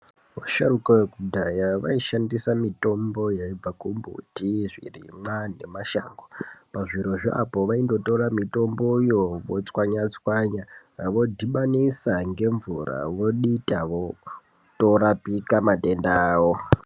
Vasharuka vekudhaya vayi shandisa mitombo yaibva ku mbuti zvirimwa ne mashango pa zvirozvo apo vaindo tora mitomboyo votswanya tswanya vodhibanisa nge mvura vodita voto rapika matenda awo.